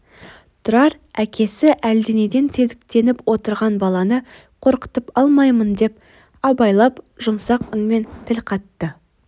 тұрар әкесі әлденеден сезіктеніп отырған баланы қорқытып алмайын деп абайлап жұмсақ үнмен тіл қатты